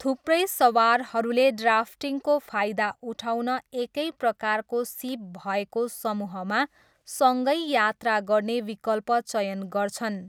थुप्रै सवारहरूले ड्राफ्टिङको फाइदा उठाउन एकैप्रकारको सिप भएको समूहमा सँगै यात्रा गर्ने विकल्प चयन गर्छन्।